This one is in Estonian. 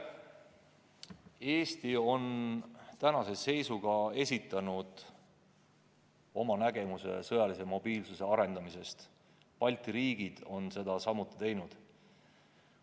Eesti on tänase seisuga esitanud oma nägemuse sõjalise mobiilsuse arendamisest, teised Balti riigid on seda samuti teinud.